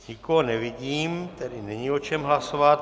Nikoho nevidím, tedy není o čem hlasovat.